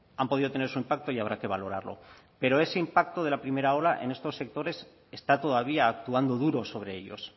han podido tener su impacto y habrá que valorarlo pero ese impacto de la primera ola en estos sectores está todavía actuando duro sobre ellos